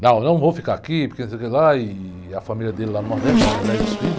Não, eu não vou ficar aqui, porque não sei o quê lá, e... E a família dele lá no Nordeste, né? A mulher e os filhos.